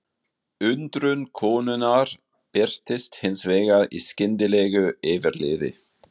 Undrun konunnar birtist hins vegar í skyndilegu yfirliði.